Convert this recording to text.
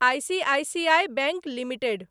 ICICI bank limited